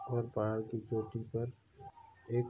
एक और पहाड़ की चोटी पर एक --